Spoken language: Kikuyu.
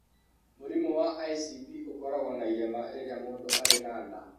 Mũrimũ wa ICP ũkoragwo na irema rĩrĩa mũndũ arĩ na nda.